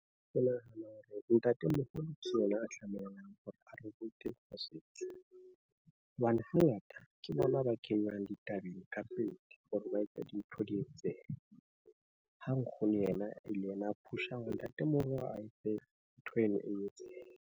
Ke nahana hore ntatemoholo ke yena a tlamehang hore a re rute mosebetsi, hobane hangata ke bona ba kenywang ditabeng ka pele hore ba etse dintho di etsehe. Ha nkgono yena e le yena a push-ang hore ntatemoholo, a etse ntho eno e etsehe.